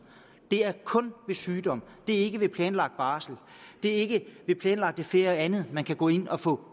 det er kun ved sygdom det er ikke ved planlagt barsel det er ikke ved planlagt ferie og andet man kan gå ind og få